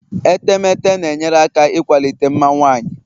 etemeete na-enyere aka ịkwalite mma nwanyị